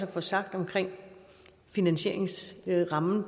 få sagt om finansieringsrammen